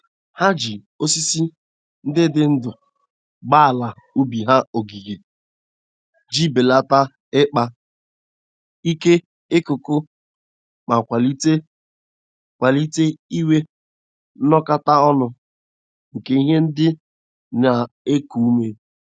Ha ji osisi ndị dị ndụ gbaa ala ubi ha ogige ji belata ikpa ike ikuku ma kwalite kwalite inwe nnọkọta ọnụ nke ihe ndị na-eku ume.